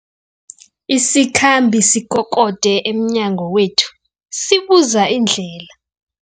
Isikhambi sikokode emnyango wethu sibuza indlela.